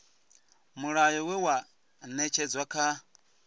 mulayo we wa ṅetshedzwa kha